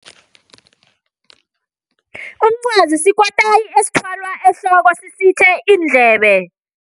Umncwazi sikotayi esithwalwa ehloko sifihle iindlebe.